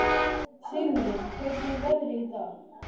Sigurlín, hvernig er veðrið í dag?